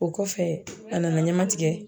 O kɔfɛ a nana ɲɛma tigɛ